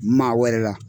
Maa wɛrɛ la